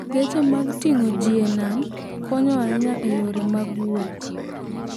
Geche mag ting'o ji e nam konyo ahinya e yore mag wuoth.